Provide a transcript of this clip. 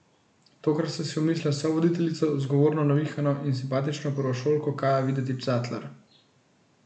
Tokrat sta si umislila sovoditeljico, zgovorno, navihano in simpatično prvošolko Kajo Videtič Zatler.